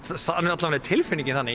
alla vega er tilfinningin þannig